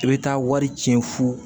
I bɛ taa wari tiɲɛ fo